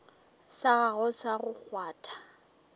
sa gago sa go kgwatha